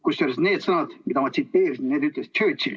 Kusjuures need sõnad, mida ma tsiteerisin, need ütles Churchill.